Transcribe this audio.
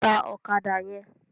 Tá òkàdá yèn